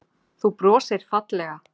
Þú brosir fallega.